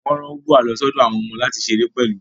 Wọ́n rán Ubwa lọ sí ọ̀dọ̀ àwọn ọmọ láti ṣeré pẹ̀lú